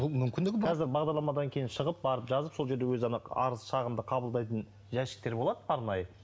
бұл мүмкіндігі бар қазір бағдарламадан кейін шығып барып жазып сол жерде өзі ана арыз шағымды қабылдайтын жәшіктер болады арнайы